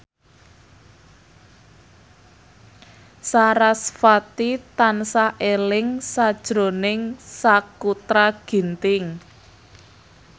sarasvati tansah eling sakjroning Sakutra Ginting